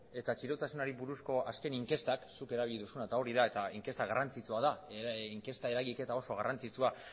eta txirotasunari buruzko azken inkestak zuk erabili duzuna eta hori da eta inkesta garrantzitsua da inkesta eragiketa oso garrantzitsua